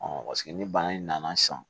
paseke ni bana in nana sisan